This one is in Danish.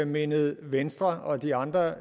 mindet venstre og de andre